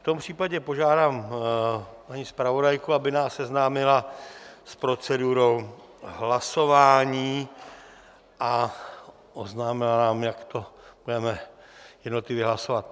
V tom případě požádám paní zpravodajku, aby nás seznámila s procedurou hlasování a oznámila nám, jak to budeme jednotlivě hlasovat.